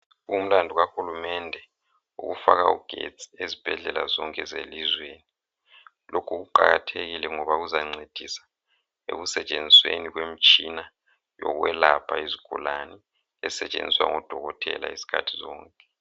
Umlandu kahulumende yikufaka ugetsi ezibhedlela zonke zelizweni. Lokhu kuqakathekile ngoba kuzancedisa ekusetshenzisweni kwemitshina yokwelapha izigulane esetshenziswa ngodokotela izikhathi zonke.